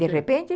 De repente?